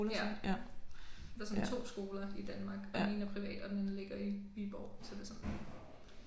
Ja. Der er sådan to skoler i Danmark og den ene er privat og den anden ligger i Viborg så det sådan